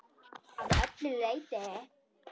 Að öllu leyti.